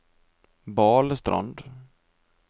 Balestrand